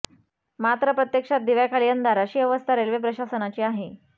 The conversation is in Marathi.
मात्र प्रत्यक्षात दिव्याखाली अंधार अशी अवस्था रेल्वे प्रशासनाची आहे